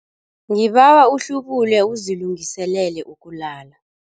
Ngibawa uhlubule uzilungiselele ukulala.